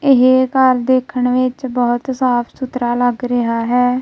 ਇਹ ਘਰ ਦੇਖਣ ਵਿੱਚ ਬਹੁਤ ਸਾ਼ਫ ਸੁਥਰਾ ਲੱਗ ਰਿਹਾ ਹੈ।